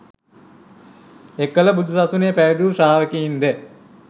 එකල බුදු සසුනේ පැවිදි වූ ශ්‍රාවකයින්ද